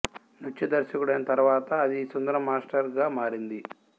నృత్య దర్శకుడైన తర్వాత అది సుందరం మాస్టర్ గా మారింది